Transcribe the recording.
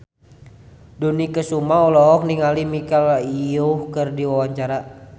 Dony Kesuma olohok ningali Michelle Yeoh keur diwawancara